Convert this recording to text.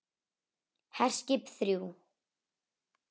HERSKIP ÞRJÚ